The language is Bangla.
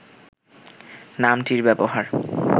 নামটির ব্যবহার